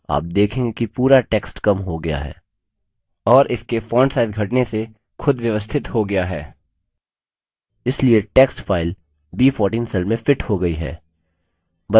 आप देखेंगे कि पूरा text कम हो गया है और इसके font size घटने से खुद व्यवस्थित हो गया है इसलिए text फाइल b14 cell में fits हो गई है